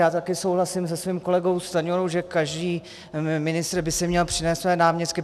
Já také souhlasím se svým kolegou Stanjurou, že každý ministr by si měl přivést své náměstky.